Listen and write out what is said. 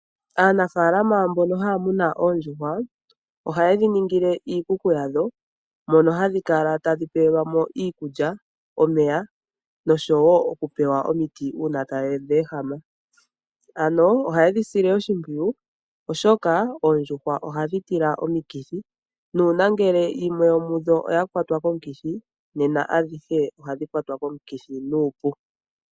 Aanafalama mbono haya munu oondjuhwa , ohaye dhiningile iikuku ya dho mono hadhi kala tadhi pelwamo iikulya, omeya nosho woo okupewa omiti uuna tadhi ehama . Ano ohaye dhi sile oshimpwiyu oshoka oondjuhwa ohadhi tila omikithi nongele yimwe yomudho oyakwatwa komukithi nena adhihd ohadhi kwatwa komukithi nuupu.